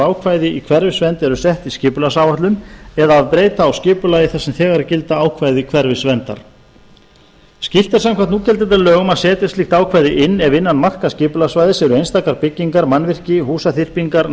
ákvæði í hverfisvernd eru sett í skipulagsáætlun eða ef breyta á skipulagi þar sem þegar gilda ákvæði hverfisverndar skylt er samkvæmt núgildandi lögum að setja slíkt ákvæði inn ef innan marka skipulagssvæðis eru einstakar byggingar mannvirki húsaþyrpingar